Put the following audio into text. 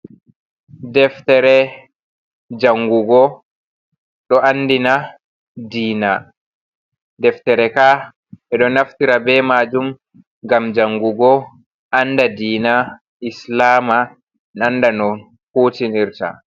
Defetere janngugo ɗo andina diina deftere ka ɓe ɗo naftira be maajum ngam jangugo anda diina islaama annda no huutinirta.